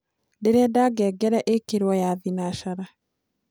ndĩrenda ngengere ikirwo ya thĩnacara